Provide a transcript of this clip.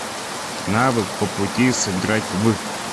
навык попути сыграть в